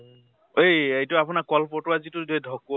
এই এইটো আপোনাৰ কলপতোৱা যিটো ঢকোৱা